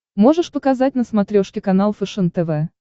можешь показать на смотрешке канал фэшен тв